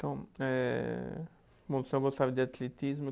Então é, bom, gostava de atletismo.